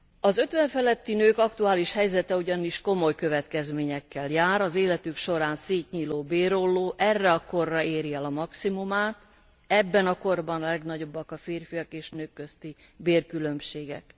Az 50 feletti nők aktuális helyzete ugyanis komoly következményekkel jár, az életük során szétnyíló bérolló erre a korra éri el maximumát, ebben a korban a legnagyobbak a férfiak és nők közti bérkülönbségek.